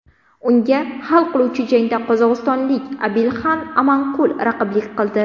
Unga hal qiluvchi jangda qozog‘istonlik Abilxan Amanqul raqiblik qildi.